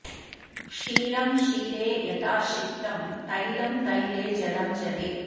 क्षीरं क्षीरे यथा क्षिप्तं तैलं तैले जलं जले